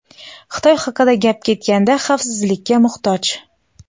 Xitoy haqida gap ketganda xavfsizlikka muhtoj.